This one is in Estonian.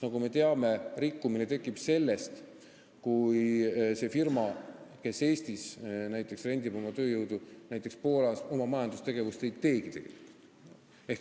Nagu me teame, rikkumine tekib, kui firmal, kes Eestis rendib oma tööjõudu näiteks Poolast, oma majandustegevust ei olegi.